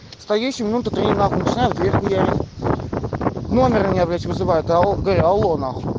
стоящим в три утра начинают в дверь хуярить номер меня блять вызывают алло говорят алло на хуй